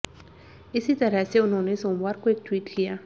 इसी तरह से उन्होंने सोमवार को एक ट्वीट किया